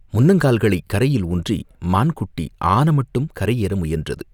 முன்னங்கால்களைக் கரையில் ஊன்றி மான் குட்டி ஆன மட்டும் கரை ஏற முயன்றது.